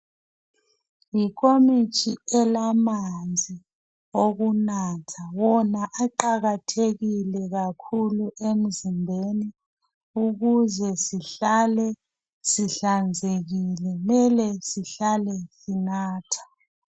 Yinkomitsho elamanzi owokunatha wona aqakathekile kakhulu emzimbeni ukuze sihlale sihlanzekile kumele zihlale sinathe.